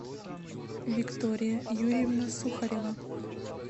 виктория юрьевна сухарева